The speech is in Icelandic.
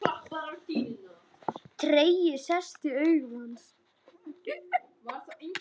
Tregi sest í augu hans.